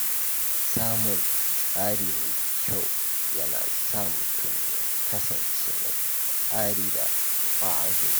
Samun tsari mai kyau yana sa mutum ya kasance mai tsari da ƙwazo.